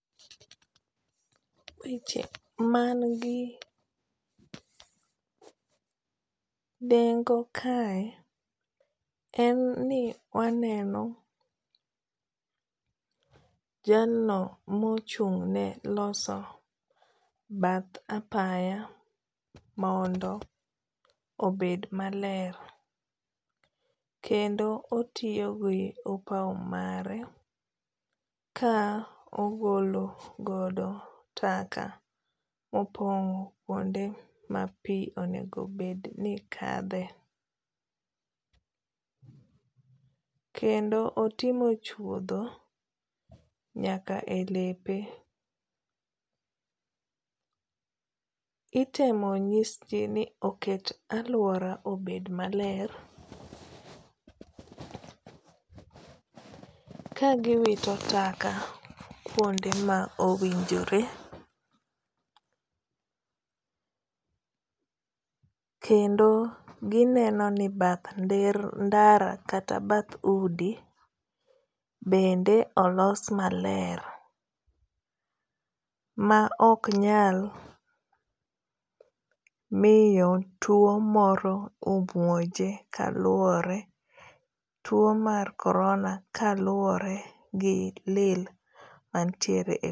Weche man gi nengo kae en ni waneno jalno mochung' ne loso bath apaya mondo obed maler. Kendo otiyo gi opaw mare ka ogolo godo taka mopong' kuonde ma pi onego bed ni kadhe. Kendo otimo chuodho nyaka e lepe. Itemo nyis ji ni oket aluora obed maler ka giwito taka kuonde ma owinjore. Kendo gineno ni bath ndara kata bath udi bende olos maler. Ma ok nyal miyo tuo moro omonje kaluwore tuo mar corona ka luwore gi lil mantiere.